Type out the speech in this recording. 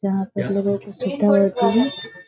यहाँ पे लगा हउ की सुत्ता रहतीं हैं।